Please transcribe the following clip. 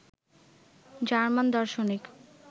German দার্শনিক